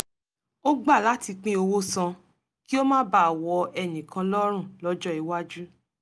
ó gbà láti pín owó san kí ó má baà wọ ẹnìkan lọ́rùn lọ́jọ́ iwájú